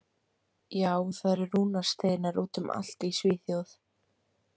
Já, það eru rúnasteinar út um allt í Svíþjóð.